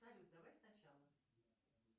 салют давай сначала